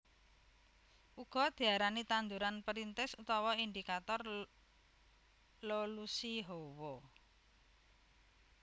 Uga diarani tanduran perintis utawa indikator lolusi hawa